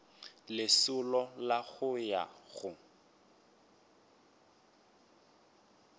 lesolo la go ya go